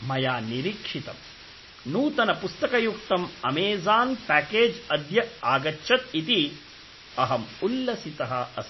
मया निरीक्षितं, नूतनपुस्तकयुक्तं अमेज़ान् प्याकेज् अद्य आगच्छत् इति अहम् उल्लसितः अस्मि।